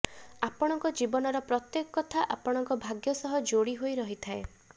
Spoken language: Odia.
ଆପଣଙ୍କ ଜୀବନର ପ୍ରତ୍ଯେକ କଥା ଆପଣଙ୍କ ଭାଗ୍ଯ ସହ ଯୋଡ଼ି ହୋଇ ରହିଥାଏ